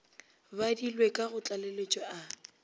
badilwe ka go tlaleletšo a